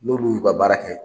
N'olu y'u ka baara kɛ